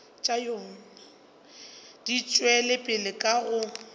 di tšwela pele ka go